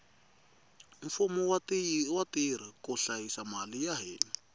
mfumo wu tirha ku hlayisa mali ya hina